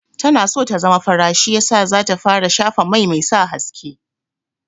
Tana so ta zama fara shi yasa za ta fara shafa mai mai sa haske.